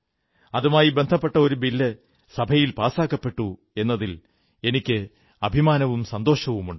അതുമായി ബന്ധപ്പെട്ട ഒരു ബില്ല് സഭയിൽ പാസാക്കപ്പെട്ടു എന്നതിൽ എനിക്ക് അഭിമാനവും സന്തോഷവുമുണ്ട്